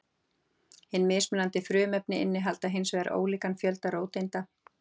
Hin mismunandi frumefni innihalda hins vegar ólíkan fjölda róteinda.